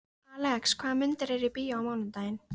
Alex, hvaða myndir eru í bíó á mánudaginn?